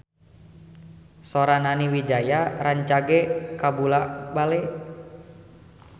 Sora Nani Wijaya rancage kabula-bale